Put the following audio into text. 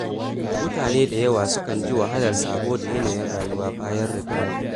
Mutane da yawa sukan ji wahalar sabo da yanayin rayuwa bayan ritaya.